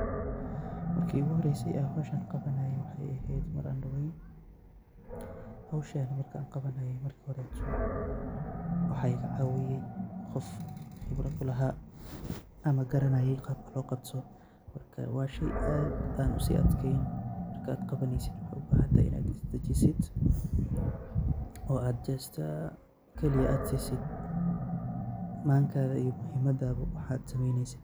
Marki iguhoreyse an howshan qawanaye wexey ehed mar an daween, howshan markan qawanaye marki hore waxa igacawiye qof qibro kulaha ama garanaye qabka loqabto marka wa shey aad an usiadkeyn markad qawaneyso waxa ubahantahay in add isdajisid oo ad just ad sisid mankada waxa ad qawaneysid.